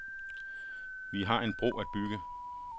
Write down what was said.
Vi har en bro at bygge.